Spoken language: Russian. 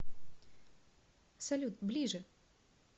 салют ближе